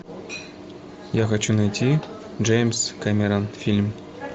я хочу найти джеймс кэмерон фильм